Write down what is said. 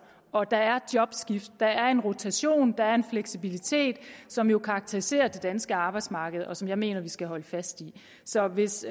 og der er jobskift der er en rotation der er en fleksibilitet som jo karakteriserer det danske arbejdsmarked og som jeg mener at vi skal holde fast i så hvis